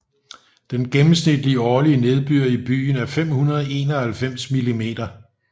Den gennemsnitlige årlige nedbør i byen er 591 mm